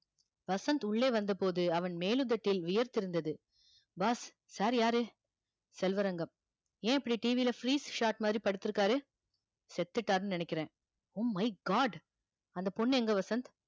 வசந்த் உள்ளே வந்த போது அவன் மேலுதட்டில் வியர்த்திருந்தது boss sir யாரு செல்வரங்கம் ஏன் இப்படி TV ல freeze shot மாதிரி படுத்து இருக்காரு செத்துட்டாருன்னு நினைக்கிறேன் oh my god அந்த பொண்ணு எங்க வசந்த்